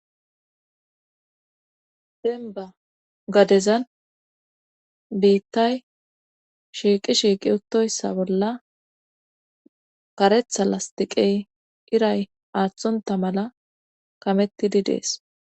denba gadezan biittay shiiqi shiiqi uttoyssa bolla karetha lastiqey iray aaththunta mala kamettidi dees